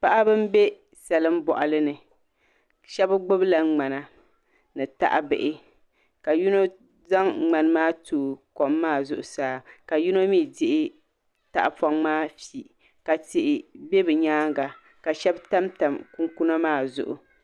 Paɣaba n bɛ salin boɣali ni shab gbubila ŋmana ni tahabihi ka yino zaŋ ŋmani maa tooi kom maa zuɣusaa ka yino mii dihi tahapoŋ maa fi ka tihi bɛ bi nyaanga ka shab tamtam kunkuna maa zuɣu